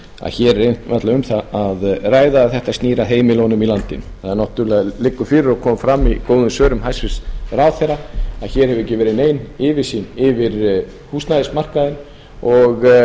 að hér er náttúrlega um það að ræða að þetta snýr að heimilunum í landinu það náttúrlega liggur fyrir og kom fram í góðum svörum hæstvirtur ráðherra að hér hefur ekki verið nein yfirsýn yfir húsnæðismarkaðinn og